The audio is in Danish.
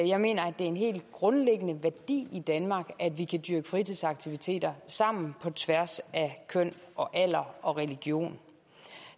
jeg mener at det er en helt grundlæggende værdi i danmark at vi kan dyrke fritidsaktiviteter sammen på tværs af køn og alder og religion